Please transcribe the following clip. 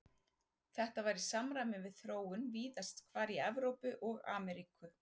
Þetta var í samræmi við þróun víðast hvar í Evrópu og Ameríku.